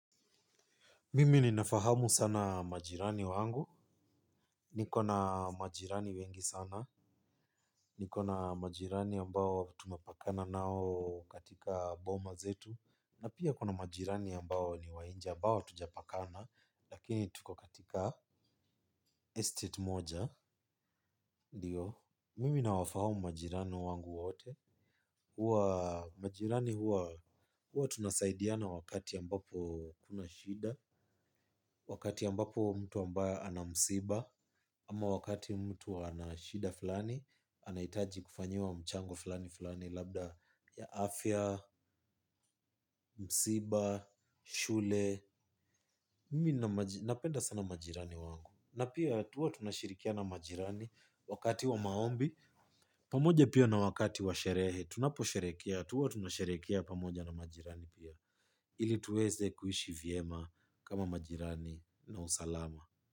Mimi ninafahamu sana majirani wangu. Niko na majirani wengi sana. Niko na majirani ambao tunapakana nao katika boma zetu. Na pia kuna majirani ambao ni wa nje ambao hatujapakana. Lakini tuko katika estate moja ndio. Mimi nawafahamu majirani wangu wote. Huwa majirani huwa huwa tunasaidiana wakati ambapo kuna shida. Wakati ambapo mtu ambaye ana msiba ama wakati mtu ana shida fulani. Anahitaji kufanyiwa mchango fulani fulani labda ya afya, msiba, shule. Napenda sana majirani wangu. Na pia huwa tunashirikiana na majirani. Wakati wa maombi pamoja pia na wakati wa sherehe. Tunaposherehekea, huwa tunasherehekea pamoja na majirani pia ili tuweze kuishi vyema kama majirani na usalama.